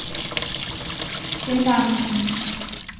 цимлянском